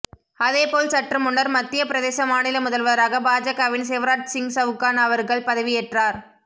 அதேபோல் சற்று முன்னர் மத்திய பிரதேச மாநில முதல்வராக பாஜகவின் சிவராஜ்சிங் சவுகான் அவர்கள் பதவி ஏற்றார்